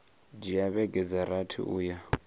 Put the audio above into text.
dzhia vhege dza rathi uya